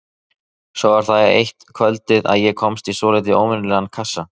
Svo var það eitt kvöldið að ég komst í svolítið óvenjulegan kassa.